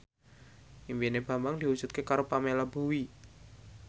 impine Bambang diwujudke karo Pamela Bowie